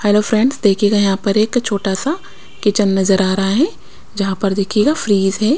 Hello friends देखिएगा यहाँ पर एक छोटा सा किचन नजर आ रहा है जहाँ पर देखिएगा फ्रिज है।